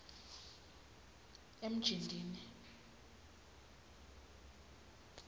emjindini